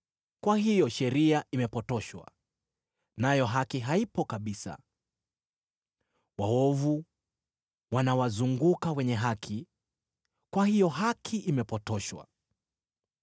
Kwa hiyo sheria imepotoshwa, nayo haki haipo kabisa. Waovu wanawazunguka wenye haki, kwa hiyo haki imepotoshwa.